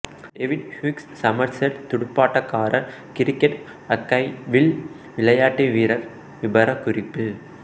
David Hughes Somerset துடுப்பாட்டக்காரர் cricket ஆக்கைவில் விளையாட்டுவீரர் விபரக்குறிப்பு